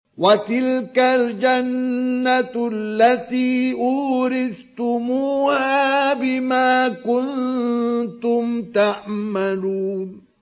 وَتِلْكَ الْجَنَّةُ الَّتِي أُورِثْتُمُوهَا بِمَا كُنتُمْ تَعْمَلُونَ